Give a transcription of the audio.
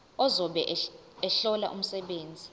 ozobe ehlola umsebenzi